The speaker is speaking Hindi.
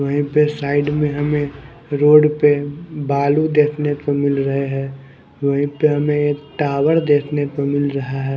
वहीं पे साइड में हमें रोड पे बालू देखने को मिल रहे हैं वहीं पे हमें एक टावर देखने को मिल रहा है।